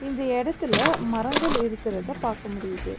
இந்த இடத்துல மரங்கள் இருக்கிறத பாக்க முடியிது.